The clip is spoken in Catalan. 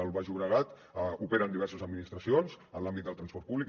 al baix llobregat operen diverses administracions en l’àmbit del transport públic